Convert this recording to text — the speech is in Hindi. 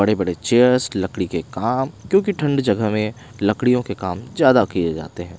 बड़े-बड़े चेयर्स लकड़ी के काम क्योंकि ठंड जगह में लकड़ियों के काम ज्यादा किए जाते हैं।